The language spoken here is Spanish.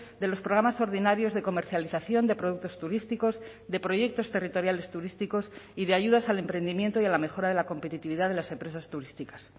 de los programas ordinarios de comercialización de productos turísticos de proyectos territoriales turísticos y de ayudas al emprendimiento y a la mejora de la competitividad de las empresas turísticas